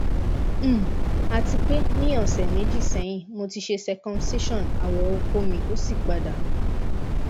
um atipe ni ọ̀sẹ̀ meji sẹ́yin mo ti ṣe circumcision awo ọkọ mi osi pada